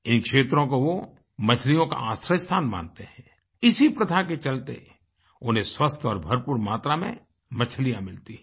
इन क्षेत्रों को वो मछलियों का आश्रय स्थान मानते हैं इसी प्रथा के चलते उन्हें स्वस्थ और भरपूर मात्रा में मछलियाँ मिलती हैं